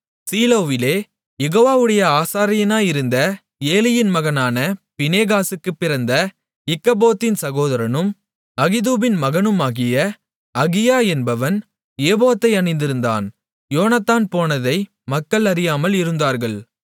சீலோவிலே யெகோவாவுடைய ஆசாரியனாயிருந்த ஏலியின் மகனான பினெகாசுக்குப் பிறந்த இக்கபோத்தின் சகோதரனும் அகிதூபின் மகனுமாகிய அகியா என்பவன் ஏபோத்தை அணிந்திருந்தான் யோனத்தான் போனதை மக்கள் அறியாமல் இருந்தார்கள்